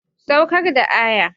Saukar da kaya.